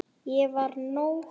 Ég var nóg.